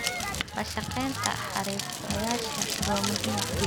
La shaqaynta xirfadlayaasha waa muhiim.